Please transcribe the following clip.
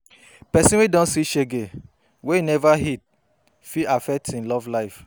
Pesin wey don see shege wey im neva heal fit affect im love life